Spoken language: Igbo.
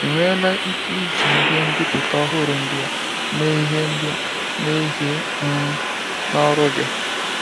I nweela ike iji ihe mbipụta ọhụrụ ndia mee ihe ndia mee ihe um n'ọrụ gị?